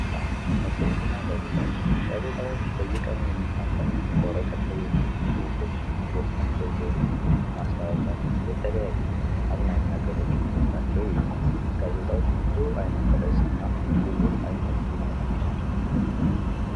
መጽሃፍት፣ መጽሄትና ጋዜጣዎች፦ ጋዜጣዎች በየቀኑ የሚታተሙ በወረቀት ላይ የወቱ ጽሁፍና ዜናዎችና የተለያዩ አዝናኝ ነገሮችን በውስጣቸው ይይዛሉ ብዙ አይነት ረእስና እና ብዙ ዓይነት ይኖራቸዋል።